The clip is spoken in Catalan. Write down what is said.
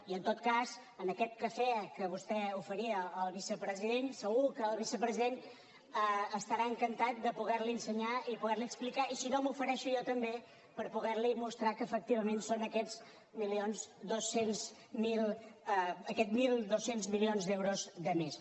i en tot cas en aquest cafè que vostè oferia al vicepresident segur que el vicepresident estarà encantat de poder li ensenyar i poder li explicar i si no m’ofereixo jo també per poder li mostrar que efectivament són aquests mil dos cents milions d’euros de més